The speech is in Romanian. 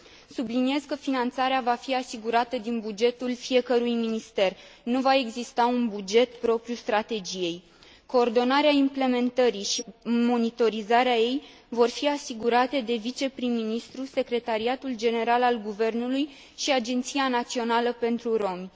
Subliniez că finanțarea va fi asigurată din bugetul fiecărui minister, nu va exista un buget propriu strategiei. Coordonarea implementării și monitorizarea ei vor fi asigurate de viceprim ministru, Secretariatul General al Guvernului și Agenția Națională pentru Romi.